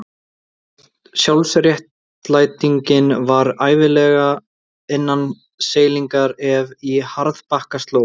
Sjálfsréttlætingin var ævinlega innan seilingar ef í harðbakka sló.